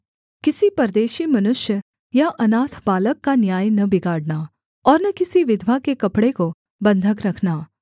किसी परदेशी मनुष्य या अनाथ बालक का न्याय न बिगाड़ना और न किसी विधवा के कपड़े को बन्धक रखना